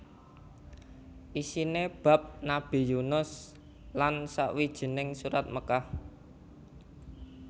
Isiné bab Nabi Yunus lan sawijining Surat Mekkah